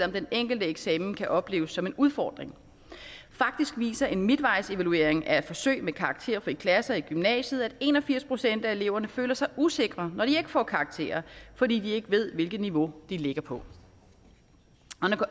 den enkelte eksamen kan opleves som en udfordring faktisk viser en midtvejsevaluering af et forsøg med karakterfrie klasser i gymnasiet at en og firs procent af eleverne føler sig usikre når de ikke får karakterer fordi de ikke ved hvilket niveau de ligger på